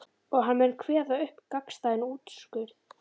Og hann mun kveða upp gagnstæðan úrskurð.